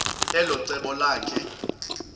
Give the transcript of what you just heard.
elo cebo lakhe